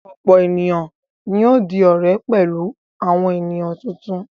Ọ̀pọ̀ ènìyàn ni yóò di ọ̀rẹ́ pẹ̀lú àwọn ènìyàn tuntun.